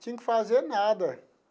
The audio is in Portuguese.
Tinha que fazer nada.